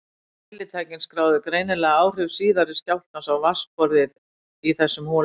Mælitækin skráðu greinilega áhrif síðari skjálftans á vatnsborðið í þessum holum.